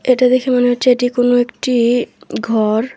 এটা দেখে মনে হচ্ছে এটি কোনো একটি ঘর।